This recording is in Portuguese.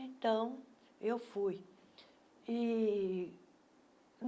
Então, eu fui. ih